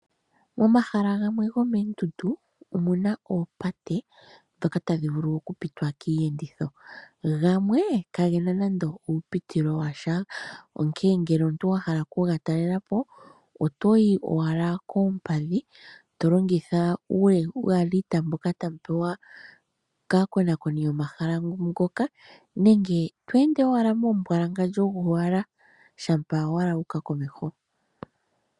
Momahala ngamwe ngomendundu omuna oopate dhoka tadhivulu okupitwa miyenditho, ngamwe kangena nande upitilo washa onkene ngele omuntu wahala oku ngatalelapo otoyi owala kepadhi tolongitha uyalita mboka tamupewa kakonakoni mboka yomahala ngoka nenge twende owala mombwalangandjo ngowala shapa owala wuka komeho.